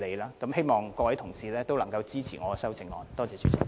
最後，我希望各位同事都支持我的修正案。